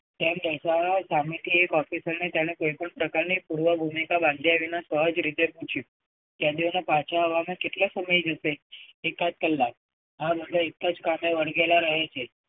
તેમ દર્શાવવા સામેથી એક officer ને તેમણે કોઈ પણ પ્રકારની પૂર્વભૂમિકા બાંધ્યા વિના સહજ રીતે પૂછ્યું. કેદીઓને પાછા આવવામાં કેટલો સમય જશે? એકાદ કલાક આ બધા એક જ કામમાં વળગેલા રહે છે.